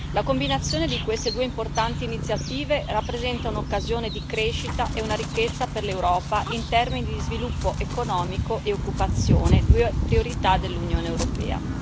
La combinazione di queste due importanti iniziative rappresenta un'occasione di crescita e una ricchezza per l'Europa in termini di sviluppo economico e occupazione, due priorità dell'Unione europea.